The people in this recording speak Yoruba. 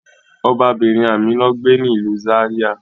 Ọbabirin Amina gbe ni ilu Zaria